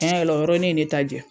Tiɲɛ yɛrɛ o yɔrɔnin ye ne ta jɛn.